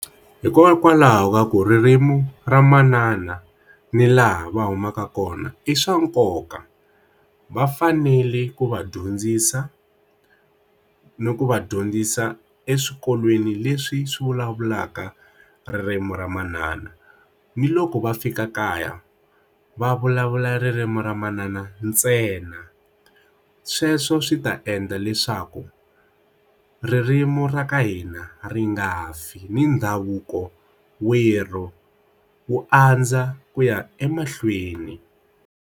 Hikokwalaho va ku ririmi ra manana ni laha va humaka kona i swa nkoka va fanele ku va dyondzisa ni ku va dyondzisa eswikolweni leswi swi vulavulaka ririmi ra manana ni loko va fika kaya va vulavula ririmi ra manana ntsena sweswo swi ta endla leswaku ririmi ra ka hina ri nga fi ni ndhavuko werhu wu andza ku ya emahlweni.